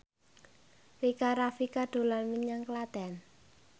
Rika Rafika dolan menyang Klaten